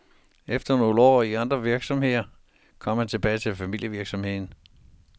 Efter nogle år i andre virksomheder kom han tilbage til familievirksomheden.